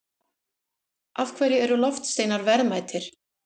Af hverju eru loftsteinar verðmætir?